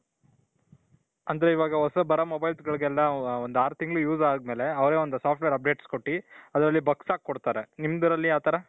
ಅಂದ್ರೆ ಇವಾಗ ಹೊಸಾದ್ ಬರೋ mobilesಗಳಿಗೆಲ್ಲಾ ಒಂದ್ ಆರು ತಿಂಗಳು use ಆದ್ಮೇಲೆ ಅವರೇ ಒಂದು software updates ಕೊಟ್ಟಿ bugs ಹಾಕಿ ಕೊಡ್ತಾರೆ. ನಿಮ್ದ್ರಲ್ಲಿ ಯಾವ್ ತರ ?